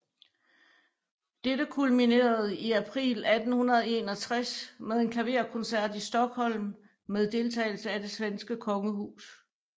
Dette kulminerede i april 1861 med en klaverkoncert i Stockholm med deltagelse af det svenske kongehus